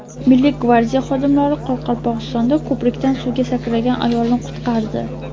Milliy gvardiya xodimlari Qoraqalpog‘istonda ko‘prikdan suvga sakragan ayolni qutqardi.